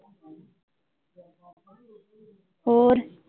ਹੋਰ।